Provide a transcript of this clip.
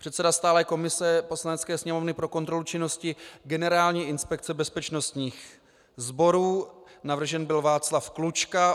Předseda stálé komise Poslanecké sněmovny pro kontrolu činnosti Generální inspekce bezpečnostních sborů - navržen byl Václav Klučka.